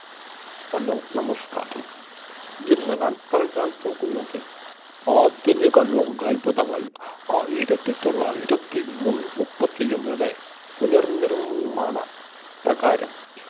Hello നമസ്കാരം ഇന്ന് ഞാൻ പറയാൻ പോകുന്നത് ആധുനിക ലോകാത്ഭുതങ്ങൾ ആയിരത്തി തൊള്ളായിരത്തി മുൻ മുപ്പത്തിയൊന്നോടെ പുനർനിർമ്മാണ പ്രകാരം